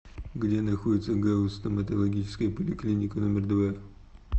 где находится гауз стоматологическая поликлиника номер два